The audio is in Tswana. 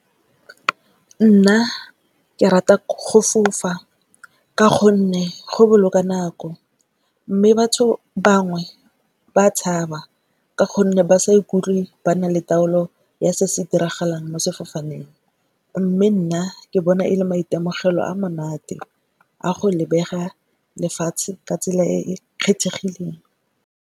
Nna ke rata go fofa ka gonne, go boloka nako mme batho bangwe ba tshaba ka gonne ba sa ikutlwe ba na le taolo ya se se diragalang mo sefofaneng. Mme nna ke bona e le maitemogelo a monate a go lebega lefatshe ka tsela e e kgethegileng.